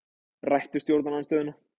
Rætt við stjórnarandstöðuna